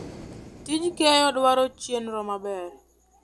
Tij keyo dwaro chenro maber.